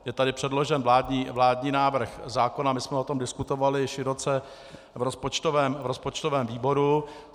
Je tady předložen vládní návrh zákona, my jsme o tom diskutovali široce v rozpočtovém výboru.